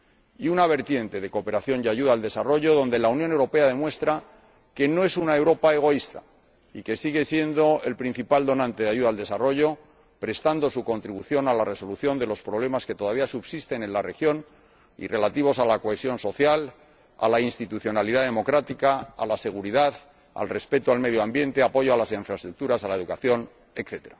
Y una vertiente de cooperación y ayuda al desarrollo, donde la Unión Europea demuestra que no es una Europa egoísta y que sigue siendo el principal donante de ayuda al desarrollo, al contribuir a la resolución de los problemas que todavía subsisten en la región en relación con la cohesión social, la institucionalidad democrática, la seguridad, el respeto del medio ambiente, el apoyo a las infraestructuras, la educación, etc.